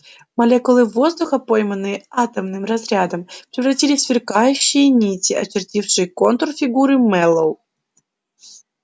молекулы воздуха пойманные атомным разрядом превратились в сверкающие нити очертившие контур фигуры мэллоу